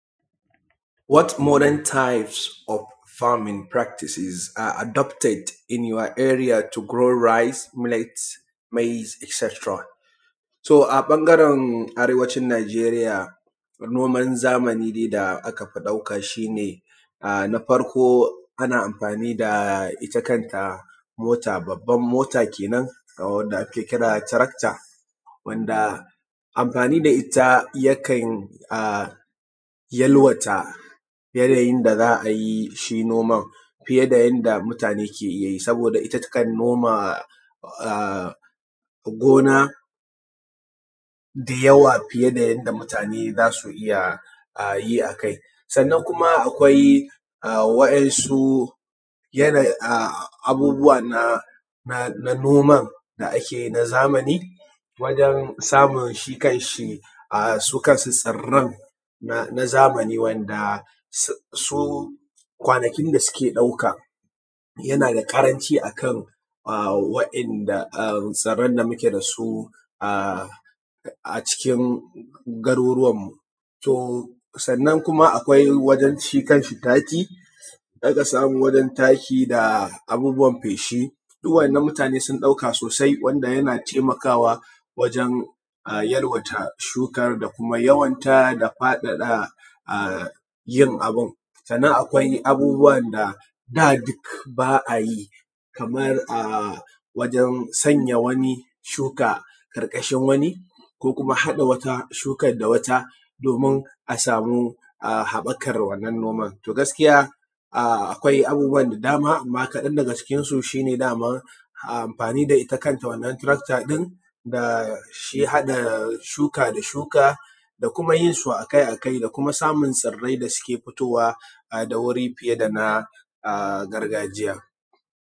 What modern types of farming practices are adopted in your area to grow rice, millet, maize e.t.c. To a ɓangaran arewacin Nijeriya noman zamanin dai da aka fi ɗauka shi ne na farko ana amfani da ita kanta mota, babban mota kenan wanda ake kira da taracter wanda amfani da ita yakan yalwata yanayin da za a yi shi noma fiye da yanda mutane ke iya yi. Saboda ita takan noma gona da yawa fiye da yanda mutane za su iya yi a sannan kuma akwai wa'insu abubuwa na noman da ake yi na zamani wajan samu shi kan shi, su kansu tsiran na zamanin wa'inda su kwanakin da suke ɗauka yana da ƙaranci akan tsiran da muke da su a cikin garuruwan mu. To sannan kuma akwai wajan shi kan shi taki, za ka samu wajan taki da abubuwa feshi duk wa'inan mutane sun ɗauka sosai wanda yana taimakawa wajan yalwata shukan, da kuma yawanta, da faɗaɗa yin abu. Sannan akwai abubuwa da da duk ba a yi kamar wajan sanya wani shuka ƙarkashin wani, ko kuma haɗa wata shukan da wata domin a samu haɓakan wannan noman. To gaskiya akwai abubuwa da dama, amma kaɗan daga cikin su shi ne daman amfani da ita kanta wanan taracter ɗin, da shi haɗa shuka da shuka, da kuma yin su akai akai, da kuma samun tsirai da suke fitowa da wuri fiye da na gargajiya.